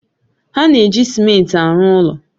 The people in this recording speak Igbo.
Ha na-eji simenti arụ ụlọ